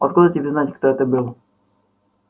откуда тебе знать кто это был